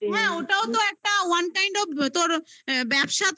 হ্যাঁ ওটাও তো একটা one time ও তোর ব্যবসা তুই শুরু